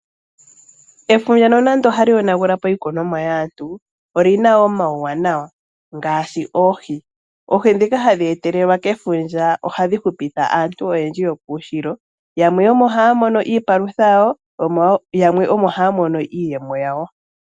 Efundja nonando ohali yonagulapo iikunonwa yaantu olina wo omaunawa, ngaashi oohi. Oodhi dhika hadhi etelelwa kefundja ohadhi hupitha aantu oyendji yokuushilo, yamwe omo haya mono iipalutha yawo, yamwe omo haya mono iiyemo yawo.